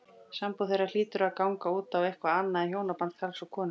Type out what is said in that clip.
Sambúð þeirra hlýtur því að ganga út á eitthvað annað en hjónaband karls og konu.